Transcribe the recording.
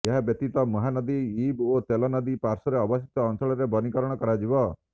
ଏହାବ୍ୟତୀତ ମହାନଦୀ ଇବ ଓ ତେଲ ନଦୀ ପାର୍ଶ୍ବର ଅବଶିଷ୍ଟ ଅଞ୍ଚଳରେ ବନୀକରଣ କରାଯିବ